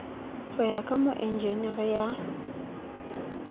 ho ya ka moenjenere ya